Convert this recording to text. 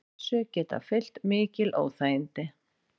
Þessu geta fylgt mikil óþægindi